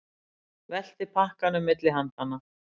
Velti pakkanum milli handanna.